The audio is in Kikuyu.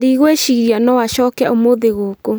Ndigwĩciria noacoke ũmũthĩ gũkũ